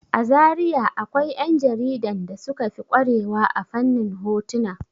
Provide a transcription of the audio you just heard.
A Zariya akwai 'ƴan jaridan da suka fi ƙware wa a fannin hotuna.